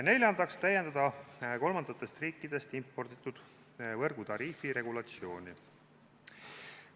Neljandaks täiendatakse kolmandatest riikidest importimise korral võrgutariifi regulatsiooni.